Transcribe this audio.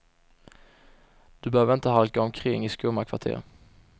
Du behöver inte halka omkring i skumma kvarter.